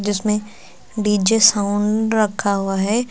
इसमें DJ sound रखा हुआ है।